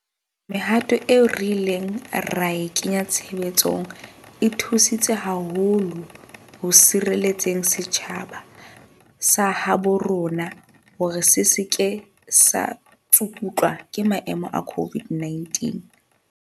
Mehato eo re ileng ra e kenya tshebetsong e thusi tse haholo ho sireletseng setjhaba sa habo rona hore se se ke sa tsukutlwa ke maemo a COVID-19.